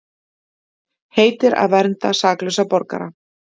Heitir að vernda saklausa borgara